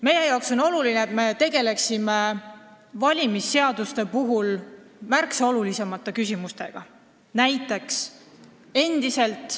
Meie jaoks on oluline, et me tegeleksime valimisseaduste puhul märksa olulisemate küsimustega.